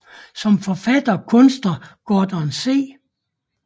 Som forfatter og kunstner Gordon C